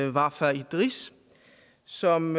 wafa idris som